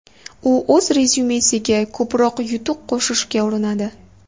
U o‘z rezyumesiga ko‘proq yutuq qo‘shishga urinadi.